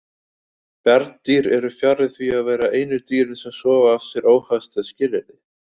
Bjarndýr eru fjarri því að vera einu dýrin sem sofa af sér óhagstæð skilyrði.